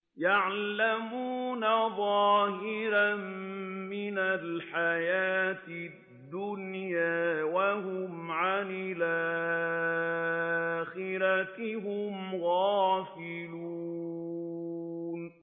يَعْلَمُونَ ظَاهِرًا مِّنَ الْحَيَاةِ الدُّنْيَا وَهُمْ عَنِ الْآخِرَةِ هُمْ غَافِلُونَ